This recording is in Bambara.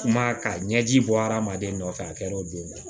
Kuma ka ɲɛji bɔ hadamaden nɔfɛ a kɛr'o don